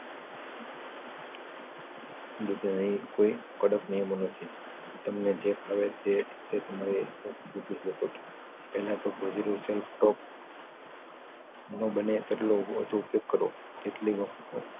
હું કોઈક કડક નિયમો નથી તમને જે ફાવે તે તે સમયે પૂછી શકો છો પેલા તો positive self talk નો બને તેટલો વધુ ઉપયોગ કરવો તેટલી વખતે